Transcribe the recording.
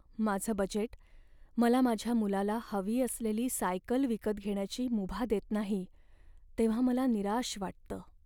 माझं बजेट मला माझ्या मुलाला हवी असलेली सायकल विकत घेण्याची मुभा देत नाही तेव्हा मला निराश वाटतं.